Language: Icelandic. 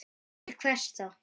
Til hvers þá?